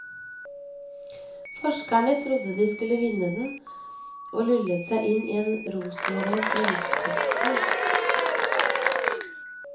Forskerne trodde de skulle vinne den, og lullet seg inn i en rosenrød fremskrittstro.